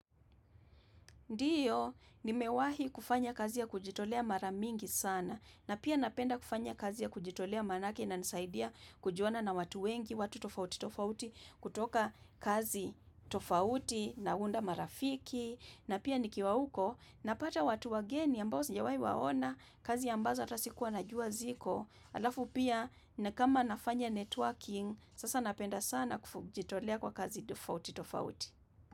Ndiyo, nimewahi kufanya kazi ya kujitolea mara mingi sana, na pia napenda kufanya kazi ya kujitolea maanake inanisaidia kujuana na watu wengi, watu tofauti tofauti, kutoka kazi tofauti, naunda marafiki, na pia nikiwa uko, napata watu wageni ambao sijawai waona, kazi ambazo hata sikuwa najua ziko, alafu pia na kama nafanya networking, sasa napenda sana kujitolea kwa kazi tofauti tofauti.